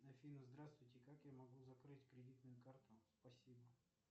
афина здравствуйте как я могу закрыть кредитную карту спасибо